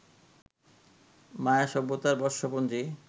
মায়া সভ্যতার বর্ষপঞ্জী